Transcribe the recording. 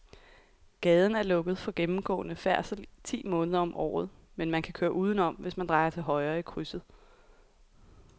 Gaden er lukket for gennemgående færdsel ti måneder om året, men man kan køre udenom, hvis man drejer til højre i krydset.